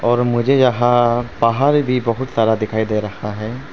और मुझे यहां पहाड़ भी बहुत सारा दिखाई दे रहा है।